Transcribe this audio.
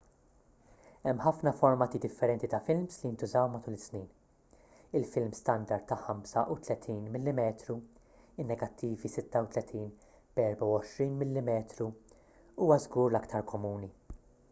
hemm ħafna formati differenti ta' films li ntużaw matul is-snin. il-film standard ta' 35 mm in-negattivi 36 b'24 mm huwa żgur l-aktar komuni